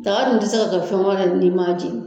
Daga dun ti se ka to fɛn wɛrɛ ye n'i ma jeni.